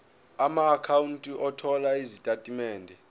amaakhawunti othola izitatimende